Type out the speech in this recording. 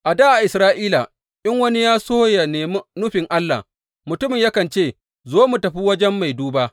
A dā a Isra’ila, in wani yana so yă nemi nufin Allah, mutumin yakan ce, Zo mu tafi wajen mai duba.